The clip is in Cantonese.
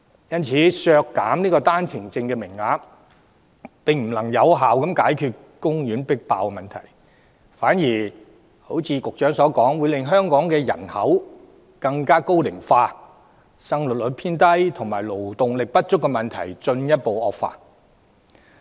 因此，削減單程證名額並不能有效解決公立醫院擠迫問題，反而如局長所說，會令香港人口高齡化、生育率偏低及勞動力不足的問題進一步惡化。